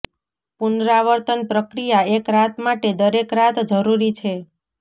પુનરાવર્તન પ્રક્રિયા એક રાત માટે દરેક રાત જરૂરી છે